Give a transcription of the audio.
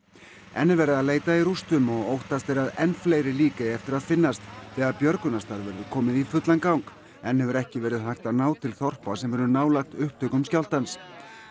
enn er verið að leita í rústunum og óttast er að enn fleiri lík eigi eftir að finnast þegar björgunarstarf verður komið í fullan gang enn hefur ekki verið hægt að ná til þorpa sem eru nálægt upptökum skjálftans